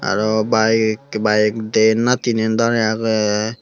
arw bike bike dyen na tinan dare aage.